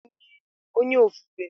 Onye ofufe na-eguzo bụ ihe ruru unyi.